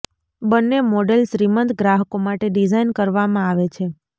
બંને મોડેલ શ્રીમંત ગ્રાહકો માટે ડિઝાઇન કરવામાં આવે છે